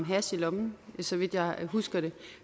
hash i lommen så vidt jeg husker det